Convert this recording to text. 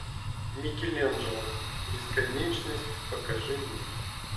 микеланджело бесконечность покажи мне